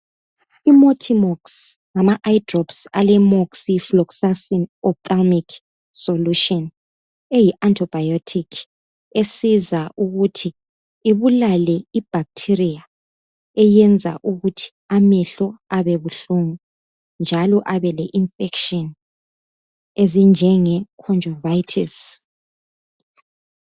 IMatimox ngama eye drops ale moxifloxacin ophthalmalic solution eyi antibiotic esiza ukuthi ibulale ibacteria eyenza ukuthi amehlo abe buhlungu njalo abe le infection ezinjenge conjuritis.